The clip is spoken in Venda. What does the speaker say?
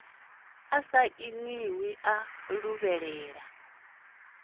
a sa nnḓivhi a luvhelela